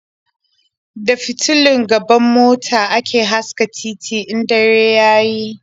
Da fitulun gaban mota ake haska titi in dare ya yi.